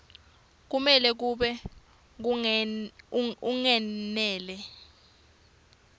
kumele kube kungenela